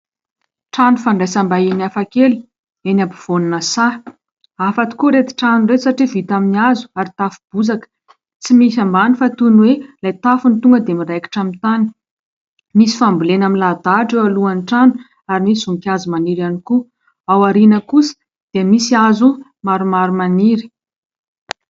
Trano fandraisam-bahiny hafakely eny ampovoan'ny saha. Hafa tokoa ireto trano ireto satria vita amin'ny hazo ary tafo bozaka. Tsy misy ambany fa toy ny hoe ilay tafo ny tonga dia miraikitra amin'ny tany. Misy fambolena milahadahatra eo alohan'ny trano ary misy voninkazo maniry ihany koa. Ao aoriana kosa dia misy hazo maromaro maniry.